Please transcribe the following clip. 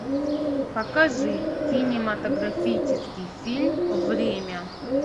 покажи кинематографический фильм время